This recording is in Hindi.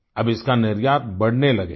अब इसका निर्यात बढ़ने लगेगा